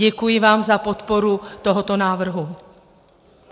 Děkuji vám za podporu tohoto návrhu.